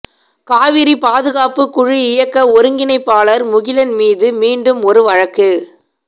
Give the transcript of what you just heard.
காவிரி பாதுகாப்புக் குழு இயக்க ஒருங்கிணைப்பாளர் முகிலன் மீது மீண்டும் ஒரு வழக்கு